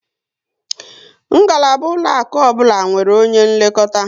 Ngalaba ụlọaku ọbụla nwere onye nlekọta